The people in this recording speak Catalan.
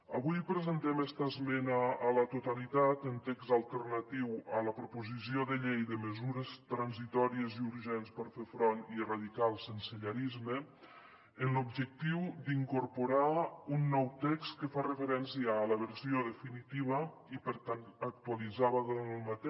avui presentem esta esmena a la totalitat amb text alternatiu a la proposició de llei de mesures transitòries i urgents per fer front i erradicar el sensellarisme amb l’objectiu d’incorporar un nou text que fa referència a la versió definitiva i per tant actualitzada d’aquest